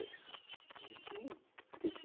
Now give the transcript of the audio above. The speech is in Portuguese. Hum. Esqueci.